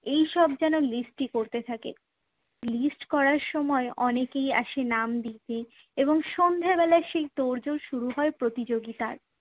এই সব যেন list ই করতে থাকে। list করার সময় অনেকেই আসে নাম দিতে এবং সন্ধ্যেবেলায় সেই তোড়জোড় শুরু হয় প্রতিযোগিতার